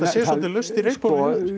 sé svolítið laust í reipunum